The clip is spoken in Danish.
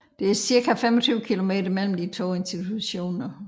Der er cirka 25 kilometer mellem de to institutioner